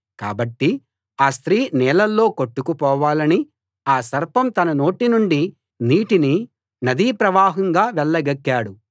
కాబట్టి ఆ స్త్రీ నీళ్ళలో కొట్టుకుపోవాలని ఆ సర్పం తన నోటి నుండి నీటిని నదీ ప్రవాహంగా వెళ్ళగక్కాడు